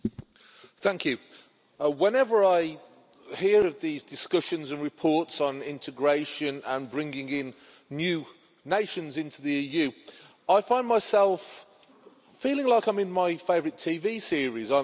Mr President, whenever I hear of these discussions and reports on integration and bringing in new nations into the EU, I find myself feeling like I'm in my favourite TV series.